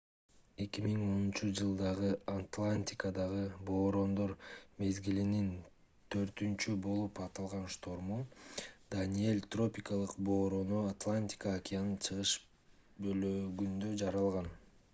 2010-жылдагы атлантикадагы бороондор мезгилинин төртүнчү болуп аталган шторму даниэль тропикалык бороону атлантика океанынын чыгыш бөлүгүндө жаралган